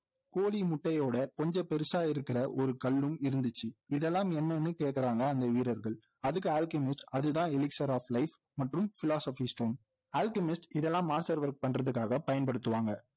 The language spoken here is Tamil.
கோழி முட்டையோட கொஞ்சம் பெருசா இருக்கிற ஒரு கல்லும் இருந்துச்சு இதெல்லாம் என்னன்னு கேக்குறாங்க அந்த வீரர்கள் அதுக்கு அல்கெமிஸ்ட் அதுதான் elixir of life மற்றும் philosopher's stone அல்கெமிஸ்ட் இதெல்லாம் master work பண்றதுக்காக பயன்படுத்துவாங்க